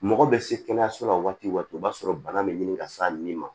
Mɔgɔ bɛ se kɛnɛyaso la waati o b'a sɔrɔ bana bɛ ɲini ka s'a nin ma